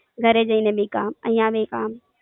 ઘરે જઈને બી કામ, અઇયા બી કામ.